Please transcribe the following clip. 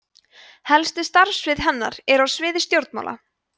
helstu starfssvið hennar eru á sviði stjórnmála